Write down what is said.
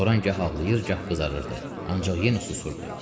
Loran gah ağlayır, gah qızarırdı, ancaq yenə susurdu.